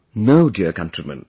No dear countrymen